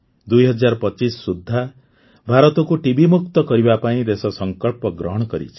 ୨୦୨୫ ସୁଦ୍ଧା ଭାରତକୁ ଟିବି ମୁକ୍ତ କରିବା ପାଇଁ ଦେଶ ସଂକଳ୍ପ ଗ୍ରହଣ କରିଛି